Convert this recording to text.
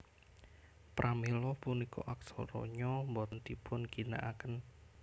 Pramila punika aksara Nya boten dipunginakaken